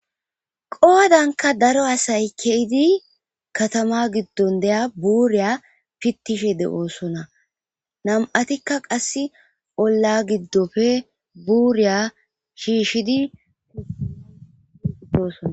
Qoodanka daro asay keydi katama giddon deya buuriya pittishe de7oosona nam'atikka qass olla giddofe buuriya shiishidi doosona.